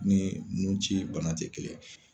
Ni ninnu ci bana tɛ kelen